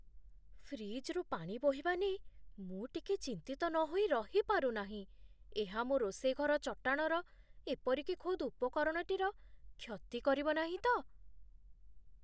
ଫ୍ରିଜ୍‌ରୁ ପାଣି ବୋହିବା ନେଇ ମୁଁ ଟିକେ ଚିନ୍ତିତ ନହୋଇ ରହିପାରୁ ନାହିଁ , ଏହା ମୋ ରୋଷେଇ ଘର ଚଟାଣର, ଏପରିକି ଖୋଦ୍ ଉପକରଣଟିର କ୍ଷତି କରିବନାହିଁ ତ?